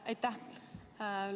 Aitäh!